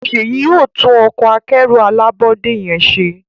Seyi yóò tún Ọkọ̀ akẹ́rù alábọ́dé yén ṣe